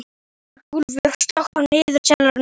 Borgúlfur, slökktu á niðurteljaranum.